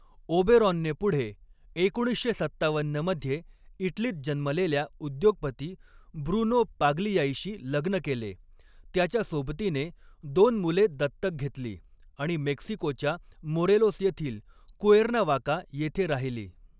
ओबेरॉनने पुढे एकोणीसशे सत्तावन्न मध्ये इटलीत जन्मलेल्या उद्योगपती ब्रुनो पाग्लियाईशी लग्न केले, त्याच्या सोबतीने दोन मुले दत्तक घेतली आणि मेक्सिकोच्या मोरेलोस येथील कुएर्नावाका येथे राहिली.